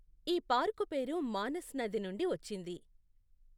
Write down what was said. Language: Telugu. ఈ పార్కు పేరు మానస్ నది నుండి వచ్చింది.